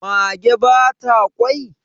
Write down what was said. mage ba ta kwai?